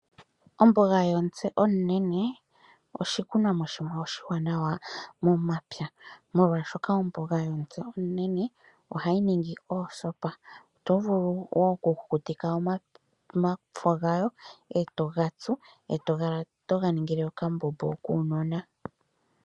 Omboga yomutse omunene, oshikunomwa shimwe oshiwaanawa momapya. Molwashoka omboga yomutse omunene ohayi ningi oosopa. Oto vulu wo okukutika omafo gayo, e to gatsu, e tokala toga ningile okambombo kuunona.